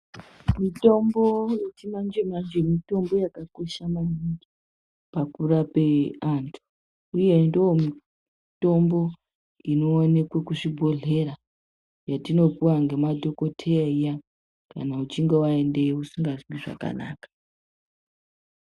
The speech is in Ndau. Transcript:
Mitombo yechimanje-manje mitombo yakakosha maningi ,pakurape antu, uye ndomitombo inoonekwe kuzvibhedhlera yetinopiwa ngemadhokotheya iya, kana uchinge waendeyo usingazwi zvakanaka.